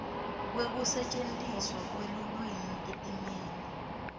kwekusetjentiswa kwelulwimi etimeni